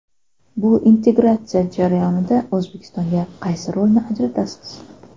Bu integratsiya jarayonida O‘zbekistonga qaysi rolni ajratasiz?